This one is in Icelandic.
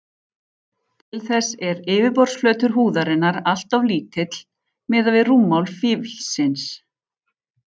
Til þess er yfirborðsflötur húðarinnar alltof lítill miðað við rúmmál fílsins.